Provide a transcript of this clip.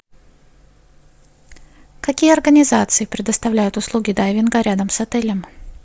какие организации предоставляют услуги дайвинга рядом с отелем